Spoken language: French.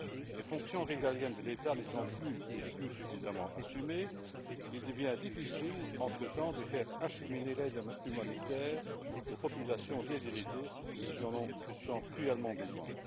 Les fonctions régaliennes de l'État n'étant plus ou plus suffisamment assurées, il devient difficile entre temps de faire acheminer l'aide humanitaire aux populations déshéritées qui en ont pourtant cruellement besoin.